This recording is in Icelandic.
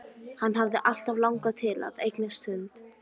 Hann hafði alltaf langað til að eignast hund.